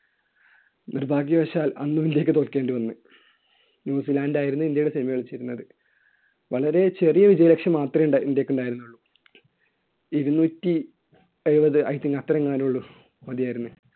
നിർഭാഗ്യവശാൽ അന്നും ഇന്ത്യയ്ക്ക് തോൽക്കേണ്ടി വന്നു. ന്യൂസിലാൻഡ് ആയിരുന്നു ഇന്ത്യയോട് semi കളിച്ചിരുന്നത്. വളരെ ചെറിയ വിജയലക്ഷ്യം മാത്രമേ ~ഉണ്ടാ ഇന്ത്യയ്ക്കുണ്ടായിരുന്നുള്ളൂ. ഇരുനൂറ്റി എഴുപത് ആയിട്ട് അത്രയെങ്ങാനുള്ളൂ. മതിയായിരുന്നു.